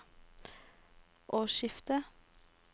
årsskiftet